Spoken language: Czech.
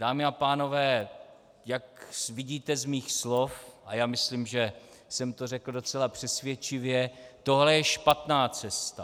Dámy a pánové, jak vidíte z mých slov, a já myslím, že jsem to řekl docela přesvědčivě, tohle je špatná cesta.